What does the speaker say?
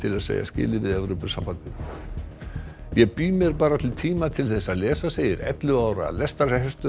að segja skilið við Evrópusambandið ég bý mér bara til tíma til að lesa segir ellefu ára lestrarhestur